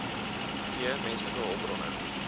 v menslike hulpbronne